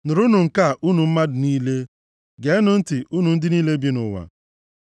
Nụrụnụ nke a, unu mmadụ niile! Geenụ ntị, unu ndị niile bi nʼụwa,